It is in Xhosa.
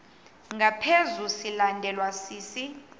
ngaphezu silandelwa sisi